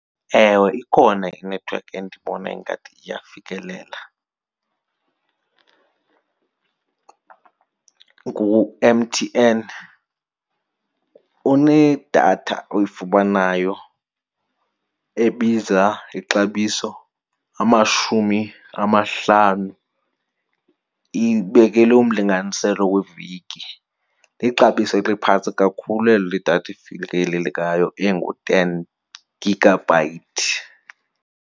Ewe, ikhona inethiwekhi endibone ingathi iyafikelela, nguMTN. Unedatha oyifumanayo ebiza ixabiso amashumi amahlanu ibekelwe umlinganiselo weveki. Lixabiso eliphantsi kakhulu elo ledatha efikelelekayo engu-ten gigabyte.